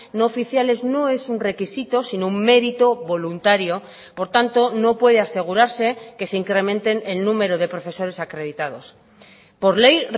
no oficiales no es un requisito sino un mérito voluntario por tanto no puede asegurarse que se incrementen el número de profesores acreditados por ley